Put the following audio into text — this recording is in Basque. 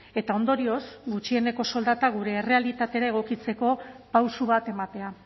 eta ondorioz gutxieneko soldata gure errealitatera egokitzeko pauso bat ematea